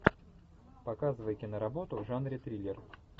показывай киноработу в жанре триллер